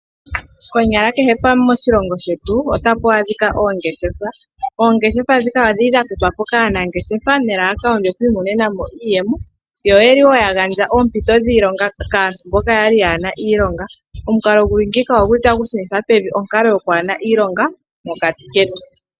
Konyala kehe pamwe moshilongo shetu ota pu adhika oongeshefa. Oongeshefa dhika odhi li dha totwa po kaanangeshefa melalakano lyo ku iimonena mo iiyemo. Yo oye li wo wa gandja oompito dhiilonga kaantu mboka ya li ya hana iionga. Omukalo gu li ngiika tagu shunitha onkalo yo kwaahena iilongo mokati ketu.